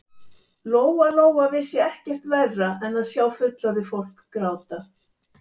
Lóa Lóa vissi ekkert verra en að sjá fullorðið fólk gráta.